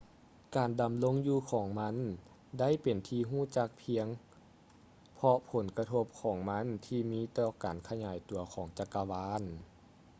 ການດຳລົງຢູ່ຂອງມັນໄດ້ເປັນທີ່ຮູ້ຈັກພຽງເພາະຜົນກະທົບຂອງມັນທີ່ມີຕໍ່ການຂະຫຍາຍຕົວຂອງຈັກກະວານ